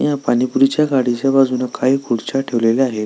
या पाणीपुरी च्या गाडीच्या बाजून काही खुर्च्या ठेवलेल्या आहे.